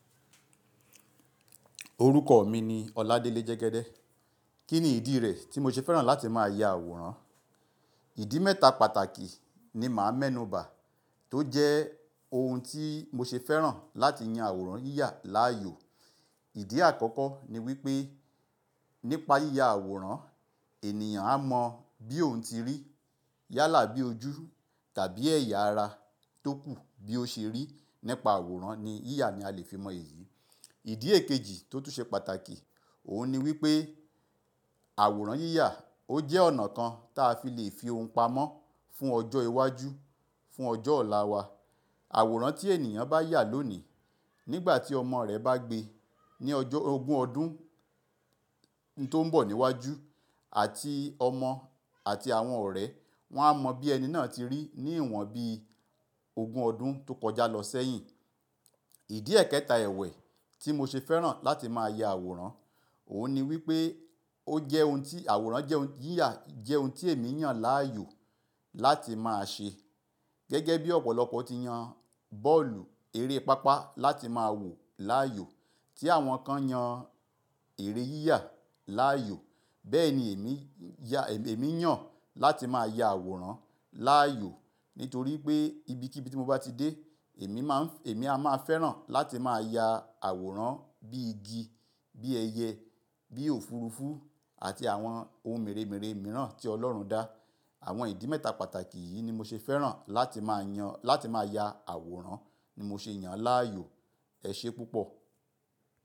Orúkọ mi ni Oladele Jegede. Kí ni ìdí rẹ̀ tí mo ṣe fẹ́ràn láti máa ya àwòrán? Ìdí mẹ́ta pàtàkì ni màá mẹ́nubà, tó jẹ́ ohun tí mo ṣe fẹ́ràn láti yan àwòrán yíyà láàyò. Ìdí àkọ́kọ́ ni wípé nípa yíya àwòrán, ènìyàn á mọ bí òun ti rí yálà bí ojú tàbí ẹ̀yà ara tó kù bí ó ṣe rí. Nípa àwòrán ni yíyà ni a lè fi mọ èyí. Ìdí èkejì tó tún ṣe pàtàkì, òun ni wípé àwòrán yíyà ó jẹ́ ọ̀nà kan ta fi lè fi ohun pamọ́ fún ọjọ́ iwájú, fún ọjọ́ ọ̀la wa. Àwòrán tí ènìyàn bá yà lónìí, nígbà tí ọmọ rẹ̀ bá gbe, ní ọjọ́ ogún ọdún tó ń bọ̀ níwájú, àti ọmọ àti àwọn ọ̀rẹ́ wọn á mọ bí ẹni náà ti rí, ní ìwọ̀n bí ogún ọdún tó kọjá lọ sẹ́yìn. Ìdí ẹ̀kẹta ẹwẹ̀ tí mo ṣe fẹ́ràn láti máa ya àwòrán, òun ni wípé ó jẹ́ ohun tí àwòrán jẹ́ ohun yíyà jẹ́ ohun tí èmi yàn láàyò láti máa ṣe. Gẹ́gẹ́ bí ọ̀pọ̀lọpọ̀ ti yan bọ́ọ̀lù, eré pápá láti máa wò láàyò tí àwọn kan yan eré yíyà láàyò. Bẹ́ẹ̀ ni èmi yàn, èmi yàn láti máa ya àwòrán láàyò nítorí pé ibikíbi tí mo bá ti dé, èmi máa ń, èmi a máa fẹ́ràn láti máa ya àwòrán bí igi, bí ẹyẹ, bí òfurufú àti àwọn ohun mèremère mìíràn tí Ọlọ́run dá. Àwọn ìdí mẹ́ta pàtàkì yìí ni mo ṣe fẹ́ràn láti máa yan, láti máa ya àwòrán ni mo ṣe yàn láàyò. Ẹ ṣe púpọ̀.